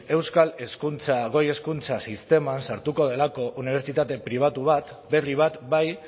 euskal hezkuntza go hezkuntza sisteman sartuko delako unibertsitate pribatu bat berri bat bai